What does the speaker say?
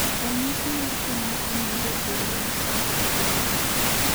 Ranyisi mag tuo mar Cornelia de Lange syndrome gin mage?